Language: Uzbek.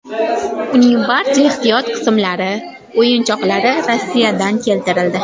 Uning barcha ehtiyot qismlari, o‘yinchoqlari Rossiyadan keltirildi.